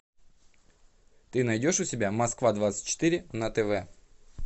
ты найдешь у себя москва двадцать четыре на тв